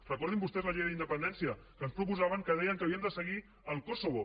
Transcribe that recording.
recordin vostès la llei d’independència que ens proposaven que deia que havíem de seguir el kosovo